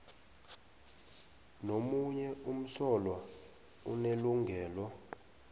nomunye umsolwa unelungelo